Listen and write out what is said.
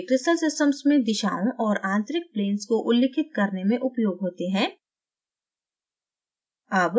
वे crystal systems में दिशाओं और आंतरिक planes को उल्लिखित करने में उपयोग होते हैं